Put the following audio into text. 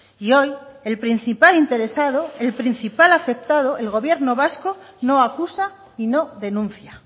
y hoy el principal interesado el principal afectado el gobierno vasco no acusa y no denuncia